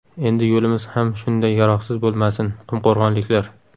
Endi yo‘limiz ham shunday yaroqsiz bo‘lmasin” qumqo‘rg‘onliklar.